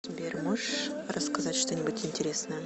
сбер можешь рассказать что нибудь интересное